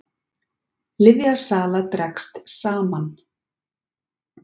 Lyfjasala dregst saman